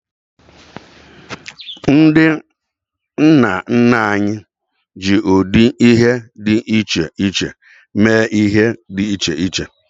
Ndị nna nna anyị ji ụdị ihe dị iche iche mee ihe dị iche iche.